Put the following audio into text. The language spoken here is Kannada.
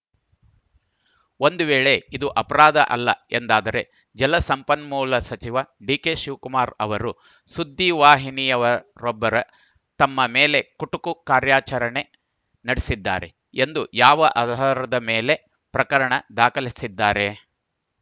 ಒಂದು ವೇಳೆ ಇದು ಅಪರಾಧ ಅಲ್ಲ ಎಂದಾದರೆ ಜಲಸಂಪನ್ಮೂಲ ಸಚಿವ ಡಿಕೆ ಶಿವಕುಮಾರ್‌ ಅವರು ಸುದ್ದಿವಾಹಿನಿಯವರೊಬ್ಬರು ತಮ್ಮ ಮೇಲೆ ಕುಟುಕು ಕಾರ್ಯಾಚರಣೆ ನಡೆಸಿದ್ದಾರೆ ಎಂದು ಯಾವ ಆಧಾರದ ಮೇಲೆ ಪ್ರಕರಣ ದಾಖಲಿಸಿದ್ದಾರೆ